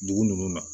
Dugu ninnu na